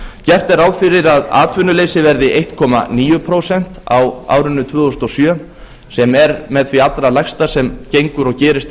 gert er ráð fyrir að atvinnuleysi verði ein níu prósent á árinu tvö þúsund og sjö sem er með því allra lægsta sem gengur og gerist